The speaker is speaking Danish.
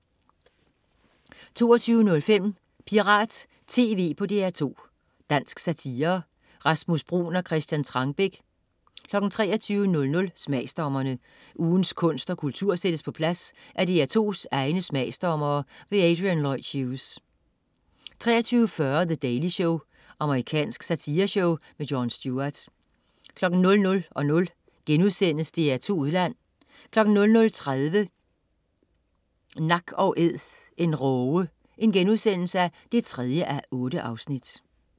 22.05 Pirat TV på DR2. Dansk satire. Rasmus Bruun og Christian Trangbæk 23.00 Smagsdommerne. Ugens kunst og kultur sættes på plads af DR2's egne smagsdommere. Adrian Lloyd Hughes 23.40 The Daily Show. Amerikansk satireshow. Jon Stewart 00.00 DR2 Udland* 00.30 Nak & Æd en råge 3:8*